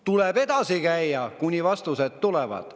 Tuleb edasi käia, kuni vastused tulevad.